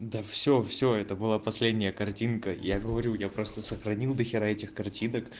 да все все это была последняя картинка я говорю я просто сохранил дохера этих картинок